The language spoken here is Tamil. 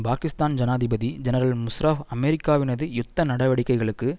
பாகிஸ்தான் ஜனாதிபதி ஜெனரல் முஷ்ராப் அமெரிக்காவினது யுத்த நடவடிக்கைகளுக்கு